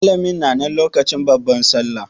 Malamin na nan lokacin babbar sallah?